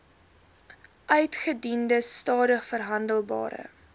uitgediende stadig verhandelbare